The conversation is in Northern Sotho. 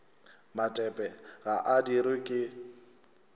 matepe ga a dirwe ke